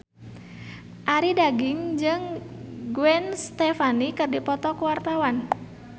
Arie Daginks jeung Gwen Stefani keur dipoto ku wartawan